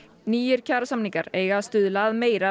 nýir kjarasamningar eiga að stuðla að meira